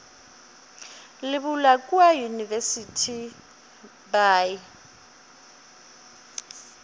le bula kua university by